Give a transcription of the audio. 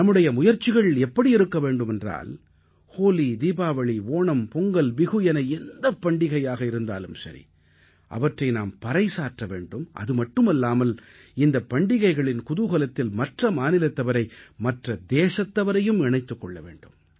நம்முடைய முயற்சிகள் எப்படி இருக்க வேண்டுமென்றால் ஹோலி தீபாவளி ஓணம் பொங்கல் பிஹு என எந்தப் பண்டிகையாக இருந்தாலும் சரி அவற்றை நாம் பறைசாற்ற வேண்டும் அதுமட்டுமல்லாமல் இந்தப் பண்டிகைகளின் குதூகலத்தில் மற்ற மாநிலத்தவரை மற்ற தேசத்தவரையும் இணைத்துக் கொள்ள வேண்டும்